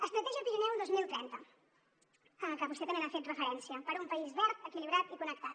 estratègia pirineu dos mil trenta que vostè també hi ha fet referència per a un país verd equilibrat i connectat